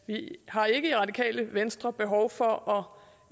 har ikke i radikale venstre behov for